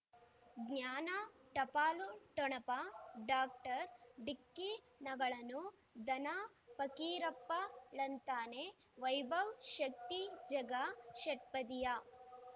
ಜ್ಞಾನ ಟಪಾಲು ಠೊಣಪ ಡಾಕ್ಟರ್ ಢಿಕ್ಕಿ ಣಗಳನು ಧನ ಫಕೀರಪ್ಪ ಳಂತಾನೆ ವೈಭವ್ ಶಕ್ತಿ ಝಗಾ ಷಟ್ಪದಿಯ